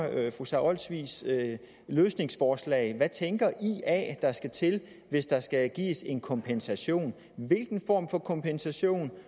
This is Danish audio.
fru sara olsvigs løsningsforslag hvad tænker ia der skal til hvis der skal gives en kompensation hvilken form for kompensation